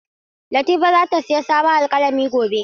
Latifa zata sayi sabon alƙalami gobe.